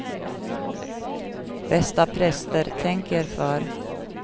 Bästa präster, tänk er för.